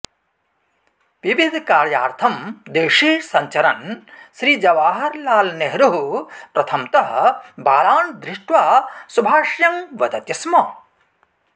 विविधकार्यार्थं देशे सञ्चरन् श्रीजवाहरलालनेहरुः प्रथमतः बालान् दृष्ट्वा शुभाशयं वदति स्म